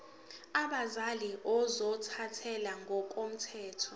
abazali ozothathele ngokomthetho